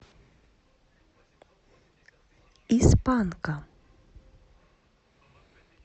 из панка